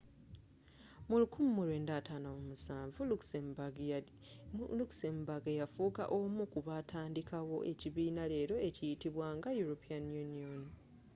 mu 1957 luxembourg yafuuka omu kubaatandikawo ekibiina leero ekimanyiddwa nga european union